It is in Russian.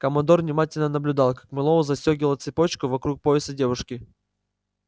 командор внимательно наблюдал как мэллоу застёгивал цепочку вокруг пояса девушки